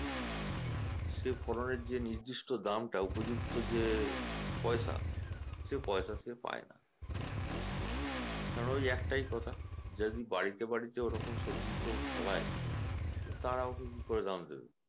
সে ফলনের যে নির্দিষ্ট দামটা উপযুক্ত যে পয়সা, সেই পয়সা সে পায়না কারণ ঐ একটাই কথা যদি বাড়িতে বাড়িতে ওরকম সবজি কেউ ফলায় তারা ওকে কি করে দাম দেবে